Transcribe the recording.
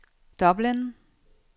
Dublin